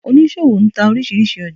Onísọwo ń tá orísírísí ójà